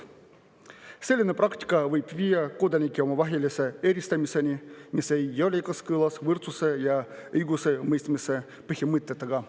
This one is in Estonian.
Selline praktika võib viia kodanikevahelise eristamiseni, mis ei ole kooskõlas võrdsuse ja õigusemõistmise põhimõtetega.